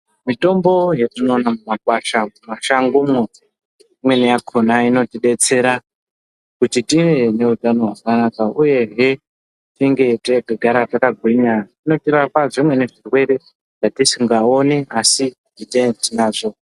Mitombo yetinoona mumakwasha mumashango umo imweni yakona inotibetsera kuti tive neutano hwakanaka, uyehe tinge teigara takagwinya unotirapa zvimweni zvirwere zvetetisingaoni asi zvetetinazvo.